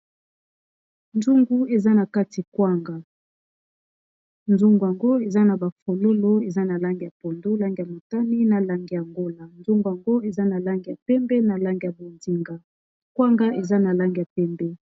Nzungu eza na kati kwanga. Nzungu yango eza na ba fololo eza na langi ya pondu, langi ya motani, na langi ya ngola. Nzungu ango eza na langi ya pembe, na langi ya bonzinga, kwanga eza na langi ya pembe.